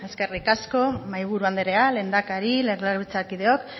eskerrik asko mahaiburu anderea lehendakari legebiltzarkideok